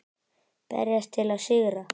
Berjast til að sigra.